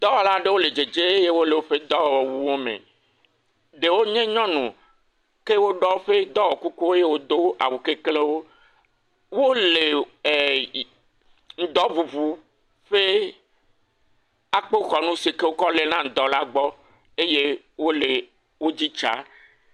Dɔwɔla aɖewo le dzedze eye wole woƒe dɔwɔwuwome. Ɖewo nye nyɔnu. Ke woɖɔ woƒe dɔwɔ kukuwo eye wodo awu keklẽwo. Wole ɛɛ ŋdɔŋuŋu ƒe akpoxɔnu si ke wokɔ léna ŋdɔ la gbɔ eye wole edzi tsaa.